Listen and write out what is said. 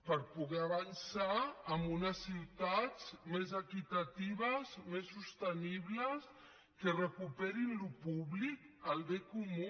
per poder avançar en unes ciutats més equitatives més sostenibles que recuperin allò públic el bé comú